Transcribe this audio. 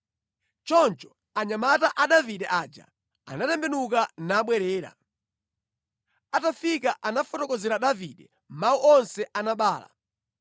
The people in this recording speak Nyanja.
Choncho anyamata a Davide aja anatembenuka nabwerera. Atafika anafotokozera Davide mawu onse a Nabala.